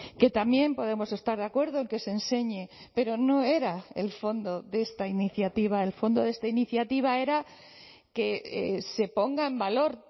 que también podemos estar de acuerdo en que se enseñe pero no era el fondo de esta iniciativa el fondo de esta iniciativa era que se ponga en valor